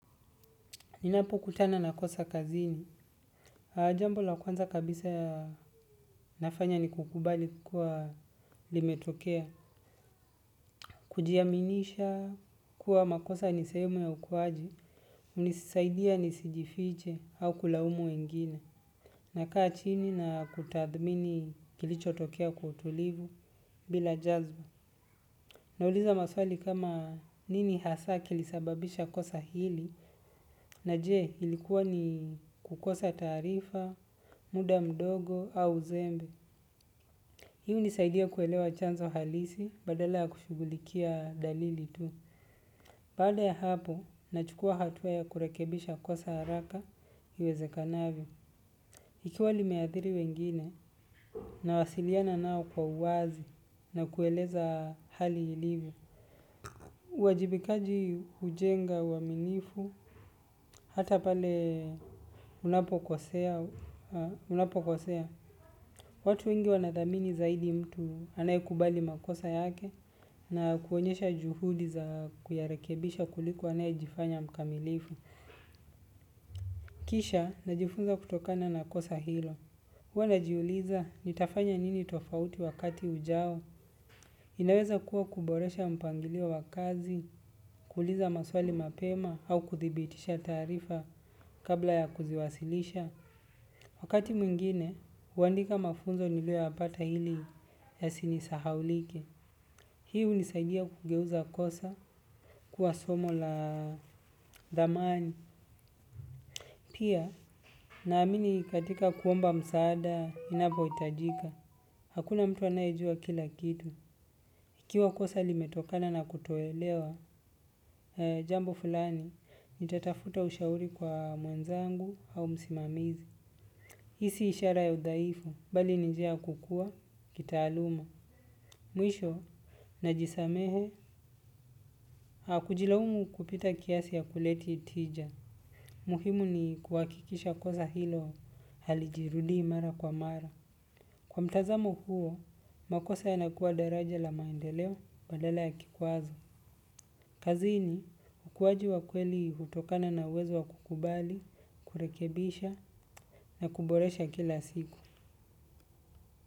Ninapokutana na kosa kazini, jambo la kwanza kabisa nafanya ni kukubali kuwa limetokea, kujiaminisha kuwa makosa ni sehemu ya ukuaji, hunisaidia nisijifiche au kulaumu wengine, nakaa chini na kutathmini kilichotokea kwa utulivu bila jazba. Nauliza maswali kama nini hasa kilisababisha kosa hili na je ilikuwa ni kukosa taarifa, muda mdogo au uzembe. Hiu hunisaidia kuelewa chanzo halisi badala ya kushugulikia dalili tu. Baada ya hapo, nachukua hatua ya kurekebisha kosa haraka iwezekanavyo. Ikiwa limeathiri wengine, nawasiliana nao kwa uwazi na kueleza hali ilivo. Uwajibikaji hujenga uaminifu, hata pale unapokosea, watu wengi wanathamini zaidi mtu anayekubali makosa yake na kuonyesha juhudi za kuyarekebisha kuliko anayejifanya mkamilifu. Kisha, najifunza kutokana na kosa hilo. Huwa najiuliza nitafanya nini tofauti wakati ujao. Inaweza kuwa kuboresha mpangilio wa kazi, kuuliza maswali mapema au kuthibitisha taarifa kabla ya kuziwasilisha. Wakati mwingine, huandika mafunzo niliyo yapata ili yasinisahaulike. Hii hunisaidia kugeuza kosa kuwa somo la thamani. Pia, naamini katika kuomba msaada, inapohitajika. Hakuna mtu anayejua kila kitu. Ikiwa kosa limetokana na kutoelewa, jambo fulani, nitatafuta ushauri kwa mwenzangu au msimamizi. Hii si ishara ya udhaifu, bali ni njia ya kukua, kitaaluma. Mwisho, najisamehe, a kujilaumu kupita kiasi hakuleti tija. Muhimu ni kuhakikisha kosa hilo halijirudi mara kwa mara. Kwa mtazamo huo, makosa yanakuwa daraja la maendeleo badala ya kikwazo. Kazini, ukuaji wa kweli hutokana na uwezo wa kukubali, kurekebisha na kuboresha kila siku.